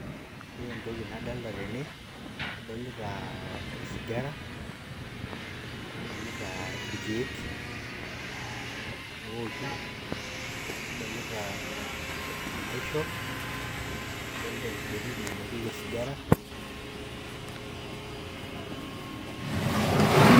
Ore entoki nadolita tene, adolita osigara, nadolita irkeek ooki nadolita enaisho nadolita enkibiriti nainokieki osigara.